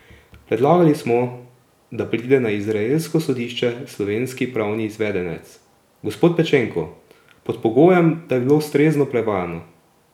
Predlagali smo, da pride na izraelsko sodišče slovenski pravni izvedenec, gospod Pečenko, pod pogojem, da bi bilo ustrezno prevajano.